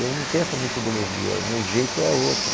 Eu não tenho essa metodologia, o meu jeito é outro.